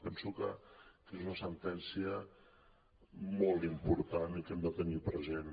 penso que és una sentència molt important i que hem de tenir present